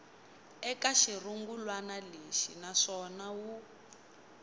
eka xirungulwana lexi naswona wu